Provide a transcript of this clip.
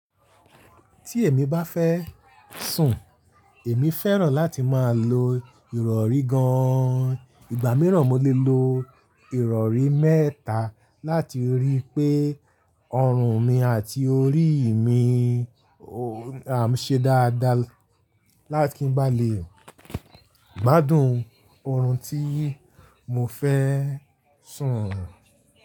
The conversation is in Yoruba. Tí èmi bá fẹ́ sùn, èmi fẹ́ràn láti máa lo ìrọ̀rí gan. Ìgbà mìíràn mo lè lo ìrọ̀rí mẹ́ta láti rí i pé ọrùn mi àti orí mi o à ń ṣe dáadáa. Kí n bá lè gbadùn ọrùn tí mo fẹ́ sùn.